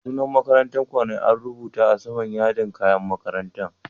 Sunan makarantan ku ne an rubuta a sama'n yardin kayan makarantan?